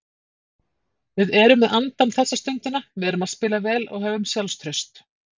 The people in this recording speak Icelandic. Við erum með andann þessa stundina, erum að spila vel og höfum sjálfstraust.